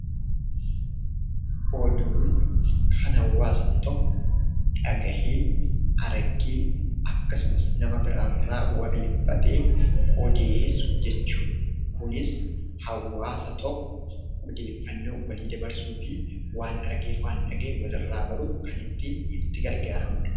Oduun kan hawwaasni tokko dhagahee, argee akkasumas nama biraarraa wabeeffatee odeessu jechuudha kunis hawwaasa tokko odeeffannoo walii dabarsuufi waan argeef waan dhaga'e walirraa baruuf kan ittiin itti gargaaramudha.